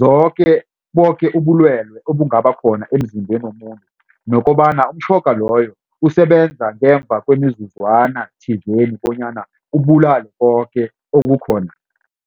zoke boke ubulwelwe obungaba khona emzimbeni womuntu. Nokobana umtjhoga loyo usebenza ngemva kwemizuzwana thizeni bonyana ubulale koke okukhona.